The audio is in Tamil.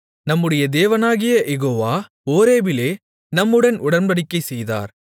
நம்முடைய தேவனாகிய யெகோவா ஓரேபிலே நம்முடன் உடன்படிக்கை செய்தார்